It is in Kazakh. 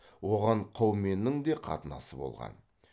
оған қауменнің де қатынасы болған